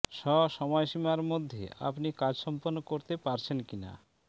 ষ সময়সীমার মধ্যে আপনি কাজ সম্পন্ন করতে পারছেন কিনা